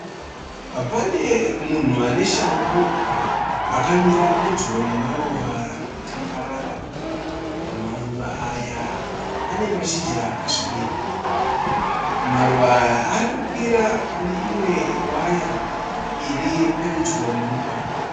Pane munhu ane shangu akamira pedyo nemaruva ari kutambarara. Maruva aya ane mashizha akasvibira. Maruva aya ari kukwira pane imwe waya iri pedyo nemugwagwa.